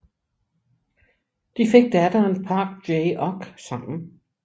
De fik datteren Park Jae Ok sammen